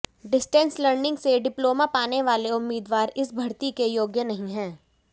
distance learning से diploma पाने वाले उम्मीदवार इस भर्ती के योग्य नहीं हैं